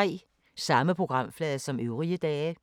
Samme programflade som øvrige dage